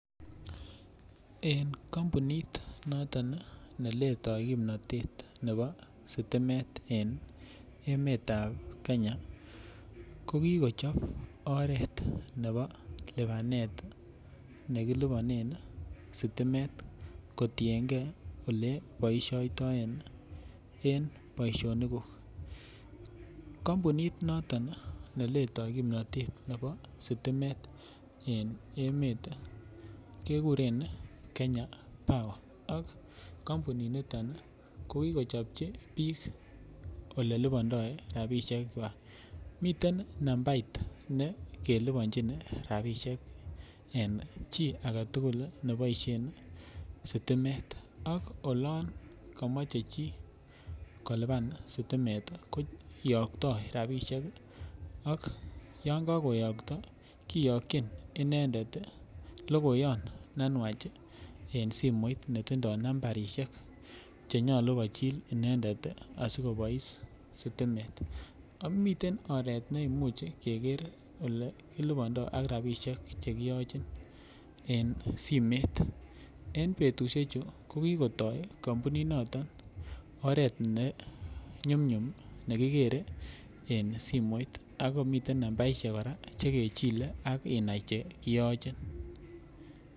En kampunit noton neletoi kimnatet nebo sitimet en emet ab Kenya ko ki kokichob oret nebo lipanet ne kiliponenen sitimet kotienge Ole boisiotoen en boisionikguk kampunit Noton neletoi kimnatet nebo sitimet en emet kekuren Kenya power ak kampuninito ko kokichopchi bik Ole lipondoi rabisiek kwak miten nambait ne kelibonchin rabisiek en chi age tugul ne boisien sitimet ak olon komoche chi kolipan sitimet koyokto rabisiek ak olon koyokto kiyokyin inendet logoyon ne nwach en simoit Che nyolu kochil inendet asi kobois sitimet miten oret ne imuch keger Ole kilibandoi ak rabisiek Che kiyochin en simet en betusiechu ko ki kotoi kampuninito oret ne nyum nyum ne kigere en simoit ak komiten nambarit Che kechile ak inai Che kiyochin